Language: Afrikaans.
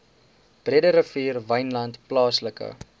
breederivier wynland plaaslike